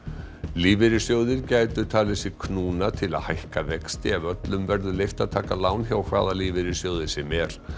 lífeyrissjóðir gætu talið sig knúna til að hækka vexti ef öllum verður leyft að taka lán hjá hvaða lífeyrissjóði sem er